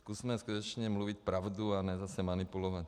Zkusme skutečně mluvit pravdu, a ne zase manipulovat.